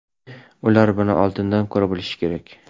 Ular buni oldindan ko‘ra bilishi kerak.